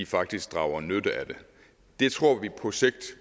faktisk drager nytte af det det tror vi på sigt